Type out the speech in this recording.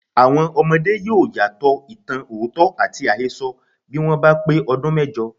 Àwọn ọmọdé yóò̀ ìyàtọ̀ ìtàn òótọ́ àti àhesọ bí wọ́n bá pé ọdún méjọ.